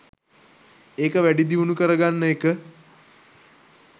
ඒක වැඩි දියුණු කරගන්න එක